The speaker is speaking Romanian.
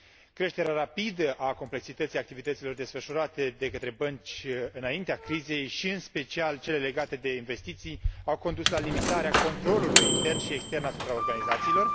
Creșterea rapidă a complexității activităților desfășurate de către bănci înaintea crizei și, în special, cele legate de investiții au condus la limitarea controlului intern și extern asupra organizațiilor.